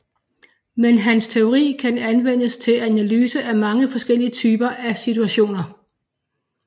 Men hans teori kan anvendes til analyse af mange forskellige typer af situationer